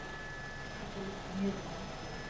Hann á ekki að líta niður á Ungverja.